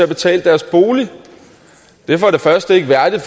betale deres bolig det er for det første ikke værdigt